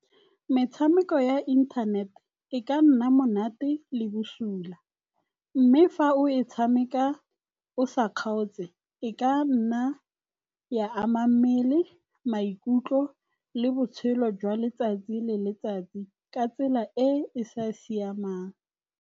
Metshameko ya inthanet e ka nna monate le bosula. Mme fa o e tshameka o sa kgaotse e ka nna ya ama mmele, maikutlo le botshelo jwa letsatsi le letsatsi ka tsela e e sa siamang.